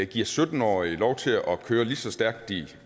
giver sytten årige lov til at køre næsten lige så stærkt de